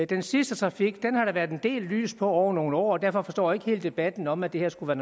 den sidste trafik har der været en del lys på over nogle år derfor forstår jeg ikke helt debatten om at det her skulle